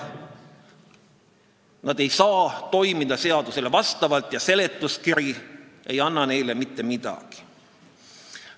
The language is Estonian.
Nad ei saa toimida seadusele vastavalt ja seletuskiri ei anna siin mitte midagi juurde.